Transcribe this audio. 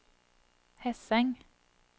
Hesseng